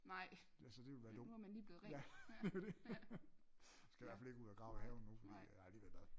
Så det ville være dumt ja det er jo det jeg skal i hvertfald ikke ud og grave i haven nu fordi jeg har lige været i bad